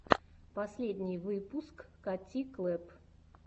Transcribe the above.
последний выпуск кати клэпп